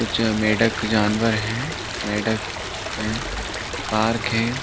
कुछ मेढ़क जानवर है मेढ़क है पार्क है।